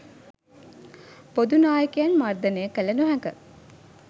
බොදු නායකයන් මර්දනය කළ නොහැක